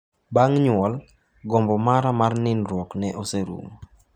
"Bang' nyuol, gombo mara mar nindruok ne oserumo."